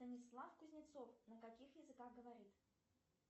станислав кузнецов на каких языках говорит